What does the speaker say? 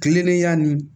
Kilennenya ni